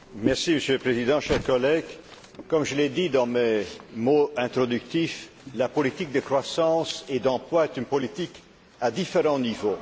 Monsieur le Président, chers collègues, comme je l'ai dit dans mon introduction, la politique de croissance et d'emploi est une politique à différents niveaux.